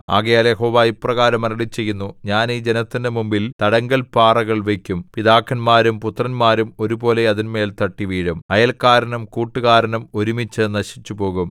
ആകയാൽ യഹോവ ഇപ്രകാരം അരുളിച്ചെയ്യുന്നു ഞാൻ ഈ ജനത്തിന്റെ മുമ്പിൽ തടങ്കൽപ്പാറകൾ വയ്ക്കും പിതാക്കന്മാരും പുത്രന്മാരും ഒരുപോലെ അതിന്മേൽ തട്ടിവീഴും അയല്ക്കാരനും കൂട്ടുകാരനും ഒരുമിച്ച് നശിച്ചുപോകും